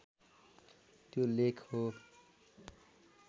त्यो लेख हो